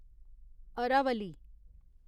Aravalli